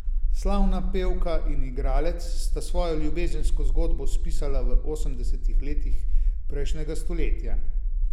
Slavna pevka in igralec sta svojo ljubezensko zgodbo spisala v osemdesetih letih prejšnjega stoletja.